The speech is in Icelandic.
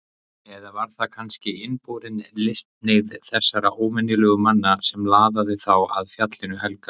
Eða var það kannski innborin listhneigð þessara óvenjulegu manna sem laðaði þá að Fjallinu helga?